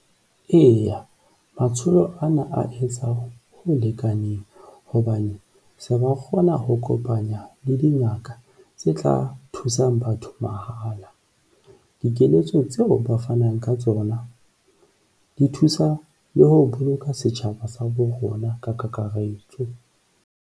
Eya, matsholo ana a etsa ho lekaneng hobane se ba kgona ho kopanya le dingaka tse tla thusang batho mahala. Dikeletso tseo ba fanang ka tsona di thusa le ho boloka setjhaba sa borona ka kakaretso.